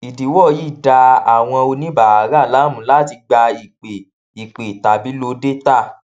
ìdíwọ yìí dá àwọn oníbàárà láàmú láti gba ìpè ìpè tàbí lo dátà